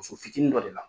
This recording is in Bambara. Muso fitinin dɔ de la